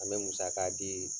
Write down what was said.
An bɛ musaka di